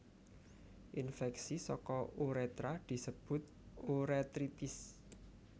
Infèksi saka urétra disebut urétritis